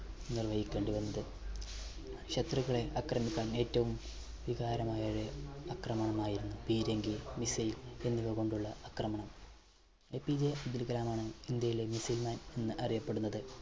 നിർവഹിക്കേണ്ടി വന്നത്. ശത്രുക്കളെ അക്രമിക്കാൻ ഏറ്റവും വികാരമായ ഒരു അക്രമണമായിരുന്നു പീരങ്കി, missile എന്നിവ കൊണ്ടുള്ള അക്രമണം. APJ അബ്ദുൽ കലാം ആണ് ഇന്ത്യയിലെ missile man എന്ന് അറിയപ്പെടുന്നത്.